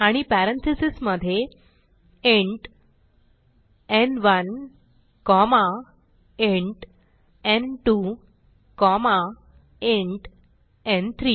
आणि पॅरेंथीसेस मधे इंट न्1 कॉमा इंट न्2 कॉमा इंट न्3